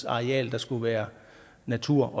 areal der skulle være natur